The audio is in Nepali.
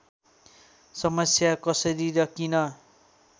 समस्या कसरी र किन